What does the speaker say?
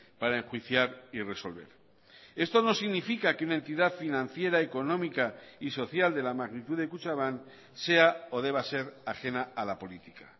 para enjuiciar y resolver esto no significa que una entidad financiera económica y social de la magnitud de kutxabank sea o deba ser ajena a la política